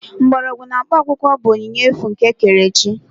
Mgbọrọgwụ na mkpaakwụkwọ bụ onyinye efu nke ekerechi